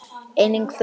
Engin furða.